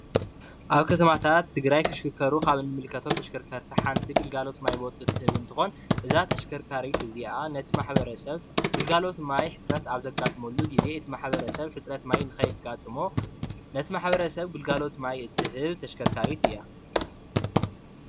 ኣብ ከተማታት ትግራይ ዝሽክከሩ ካብ እንምልከቶም ተሽከርከርቲ ግልጋሎት ማይ ትህብ እንትከውን እዛ ተሽከካሪት እዚኣ ነቲ ማሕበረሰብ ግልጋሎት ማይ ሕፅረት ኣብ ዘጋጥምሉ ግዜ ነቲ ማሕበርሰብ ሕፅረት ማይ ንኸየጋጥሞ ነቲ ማሕበርሰብ ግልጋሎት ማይ እትህብ ተሽከርካሪት እያ።